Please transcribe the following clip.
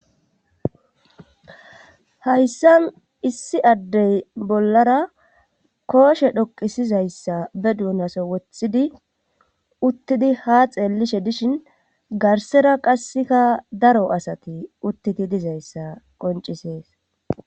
hayssan issi addey bollara kooshe dhoqisizayssa be duunaso wothidi uttidi ha xeellishe dishin garsera qasseka daro asati uttiti dizayssa qoncisees